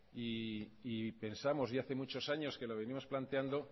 y pensamos y ya hace muchos años que lo venimos planteando